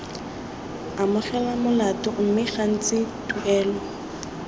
amogela molato mme gantsi tuelo